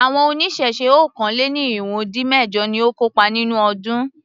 Àwọn oníṣẹ̀ṣe okòó-lé-ní-irínwó-dín-mẹ̀jọ ni ó kópa nínú ọdún.